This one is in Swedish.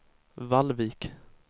Vallvik